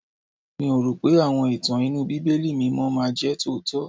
Mi ò rò pé àwọn ìtàn inú Bíbélì mímọ́ máa jẹ́ tòótọ́.